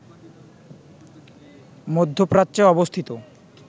মধ্যপ্রাচ্যে অবস্থিত